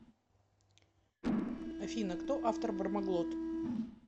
афина кто автор бармаглот